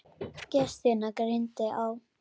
Gestina greindi á.